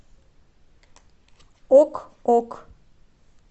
ок ок